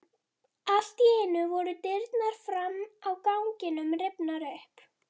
Allt í einu voru dyrnar fram á ganginn rifnar upp.